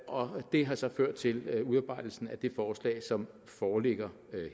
og det har så ført til udarbejdelsen af det forslag som foreligger